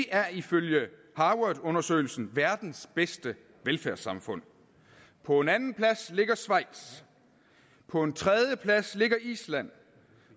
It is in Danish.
er ifølge harvardundersøgelsen verdens bedste velfærdssamfund på en andenplads ligger schweiz på en tredjeplads ligger i island